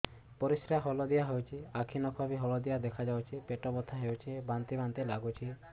ପରିସ୍ରା ହଳଦିଆ ହେଉଛି ଆଖି ନଖ ବି ହଳଦିଆ ଦେଖାଯାଉଛି ପେଟ ବଥା ହେଉଛି ବାନ୍ତି ବାନ୍ତି ଲାଗୁଛି